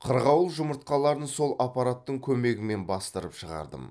қырғауыл жұмыртқаларын сол аппараттың көмегімен бастырып шығардым